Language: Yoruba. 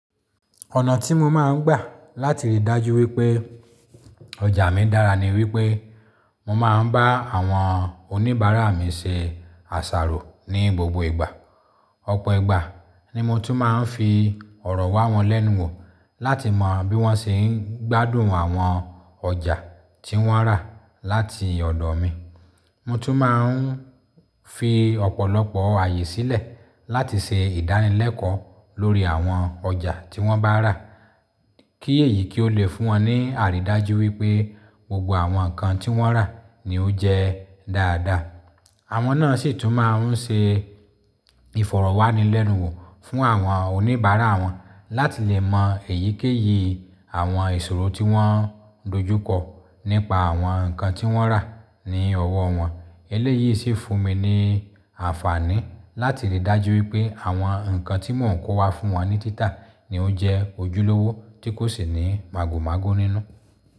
Ọ̀nà tí mo máa ń gbà láti rí dájú wípé ọjà mi dára ni wípé mo máa ń bá àwọn oníbàárà mi ṣe àṣàrò ní gbogbo ìgbà. Ọ̀pọ̀ ìgbà ni mo tún máa ń fi ọ̀rọ̀ wá wọn lẹ́nu wò láti mọ bí wọ́n ṣe ń gbádùn àwọn ọjà tí wọ́n rà láti ọ̀dọ̀ mi. Mo tún máa ń fi ọ̀pọ̀lọpọ̀ ààyè sílẹ̀ láti ṣe ìdánilẹ́kọ̀ọ́ lórí àwọn ọjà tí wọ́n bá rà, kí èyí kí ó le fún wọn ní àrídájú wípé gbogbo àwọn nǹkan tí wọ́n rà ni ó jẹ́ dáadáa. Àwọn náà sì tún máa ń ṣe ìfọ̀rọ̀wánilẹ́nuwò fún àwọn oníbàárà wọn láti lè mọ èyíkéyìí àwọn ìṣòro tí wọ́n dojú kọ nípa àwọn nǹkan tí wọ́n rà ní ọwọ́ wọn. Eléyìí sì fún mi ní àǹfààní láti rí dájú wípé àwọn nǹkan tí mò ń kó wá fún wọn ní títà ni ó n jẹ ojúlówó tí kò sì ní màgòmágó nínú.